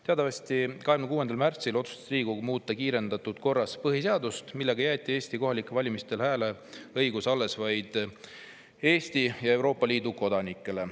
Teatavasti 26. märtsil otsustas Riigikogu muuta kiirendatud korras põhiseadust, millega jäeti Eesti kohalikel valimistel hääleõigus alles vaid Eesti ja Euroopa Liidu kodanikele.